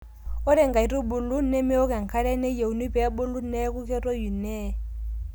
ore inkaitubul nemeok enkare nayieuni pee ebulu neeku ketoyu nee